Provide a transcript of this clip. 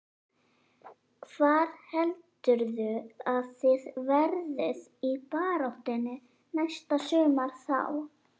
Hvar heldurðu að þið verðið í baráttunni næsta sumar þá?